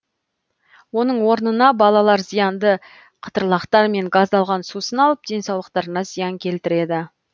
оның орнына балалар зиянды қытырлақтар мен газдалған сусын алып денсаулықтарына зиян келтіреді